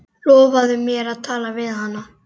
Lofaðu mér að tala við hana.